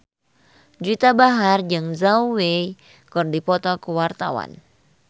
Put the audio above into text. Juwita Bahar jeung Zhao Wei keur dipoto ku wartawan